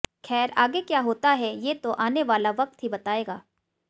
खैर आगे क्या होता है ये तो आने वाला वक्त ही बताएगा